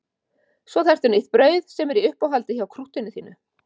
Svo þarftu nýtt brauð sem er í uppáhaldi hjá krúttinu þínu.